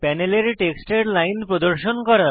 প্যানেলের টেক্সটের লাইন প্রদর্শন করা